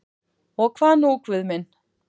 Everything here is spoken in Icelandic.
Og hvað nú Guð minn?